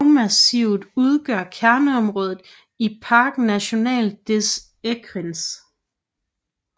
Bjergmassivet udgør kerneområdet i Parc national des Écrins